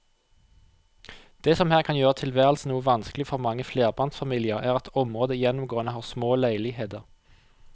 Det som her kan gjøre tilværelsen noe vanskelig for mange flerbarnsfamilier er at området gjennomgående har små leiligheter.